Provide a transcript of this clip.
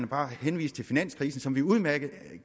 bare at henvise til finanskrisen som vi udmærket